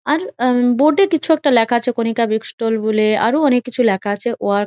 এর বোর্ড লেখা আছে কণিকা বুক স্টল বলে আরও অনকে কিছু লেখা আছে ওয়ার্ক --